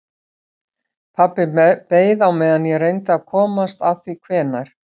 Pabbi beið á meðan ég reyndi að komast að því hvenær